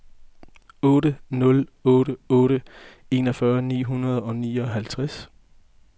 otte nul otte otte enogfyrre ni hundrede og nioghalvtreds